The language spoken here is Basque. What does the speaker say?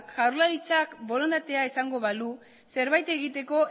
jaurlaritzak borondatea izango balu zerbait egiteko